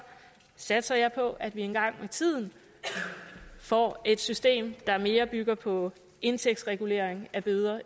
satser jeg på at vi en gang med tiden får et system i der mere bygger på indtægtsregulering af bøder